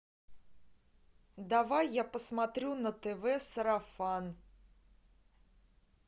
давай я посмотрю на тв сарафан